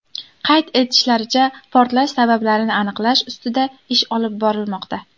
Qayd etishlaricha, portlash sabablarini aniqlash ustida ish olib borilmoqda.